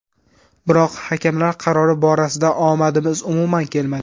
Biroq hakamlar qarori borasida omadimiz umuman kelmadi.